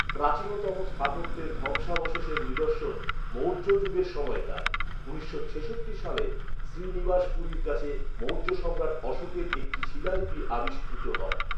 প্রাচীনতম স্থাপত্যের ধ্বংসাবশেষের নিদর্শন মৌর্য যুগের সময়কার; উনিশশো ছেষট্টি সালে শ্রীনিবাসপুরীর কাছে মৌর্য সম্রাট অশোকের একটি শিলালিপি আবিষ্কৃত হয়।